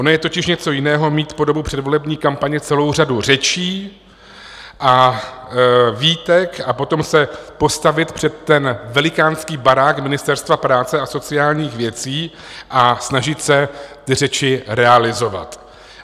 Ono je totiž něco jiného mít po dobu předvolební kampaně celou řadu řečí a výtek a potom se postavit před ten velikánský barák Ministerstva práce a sociálních věcí a snažit se ty řeči realizovat.